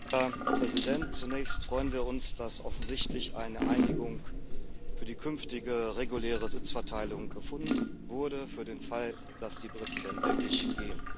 Herr Präsident! Zunächst freuen wir uns, dass offensichtlich eine Einigung für die künftige reguläre Sitzverteilung gefunden wurde für den Fall, dass die Briten denn wirklich gehen.